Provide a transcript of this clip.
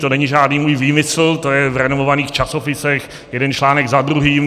To není žádný můj výmysl, to je v renomovaných časopisech, jeden článek za druhým.